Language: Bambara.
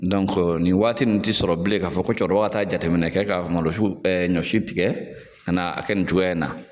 nin waati in tɛ sɔrɔ bilen k'a fɔ ko cɛkɔrɔba ka taa jateminɛ kɛ ka malo su ka ɲɔ si tigɛ ka n'a kɛ nin cogoya in na.